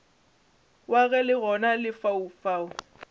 wa ge le gona lefaufau